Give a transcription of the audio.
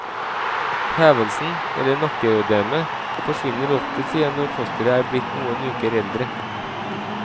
Hevelsen, eller nakkeødemet, forsvinner oftest igjen når fosteret er blitt noen uker eldre.